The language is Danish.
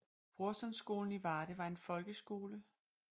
Brorsonskolen i Varde var en folkeskole på Ndr